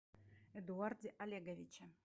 эдуарде олеговиче